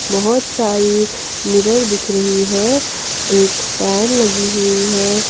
बहुत सारी मिरर दिख रही है एक फैन लगी हुई है।